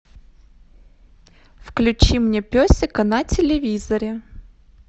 включи мне песика на телевизоре